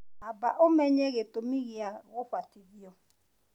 Amba ũmenye gĩtũmi gĩa gũbatithio